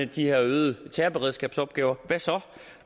de her øgede terrorberedskabsopgaver